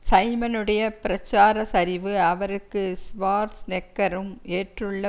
சைமனுடைய பிரச்சார சரிவு அவருக்கு ஷ்வார்ஸ்நெக்கரும் ஏற்றுள்ள